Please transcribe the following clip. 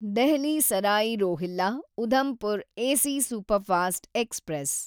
Delhi Sarai Rohilla Udhampur AC superfast express